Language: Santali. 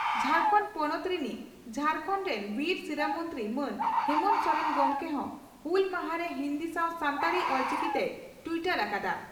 ᱡᱷᱟᱨᱠᱟᱱᱰ ᱯᱚᱱᱚᱛ ᱨᱤᱱᱤᱡ ᱡᱷᱟᱲᱠᱷᱚᱱᱰ ᱨᱮᱱ ᱵᱤᱨ ᱥᱤᱨᱟᱹ ᱢᱚᱱᱛᱨᱤ ᱢᱟᱱ ᱦᱮᱢᱚᱱᱛᱚ ᱥᱚᱨᱮᱱ ᱜᱚᱢᱠᱮ ᱦᱚᱸ ᱦᱩᱞ ᱢᱟᱦᱟ ᱨᱮ ᱦᱤᱱᱫᱤ ᱥᱟᱣ ᱥᱟᱱᱛᱟᱲᱤ (ᱚᱞᱪᱤᱠᱤ) ᱛᱮᱭ ᱴᱤᱭᱴᱚᱨ ᱟᱠᱟᱫᱼᱟ ᱾